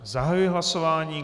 Zahajuji hlasování.